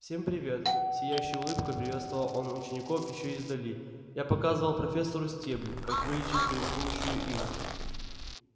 всем привет с сияющей улыбкой приветствовал он учеников ещё издали я показывал профессору стебль как вылечить гремучую иву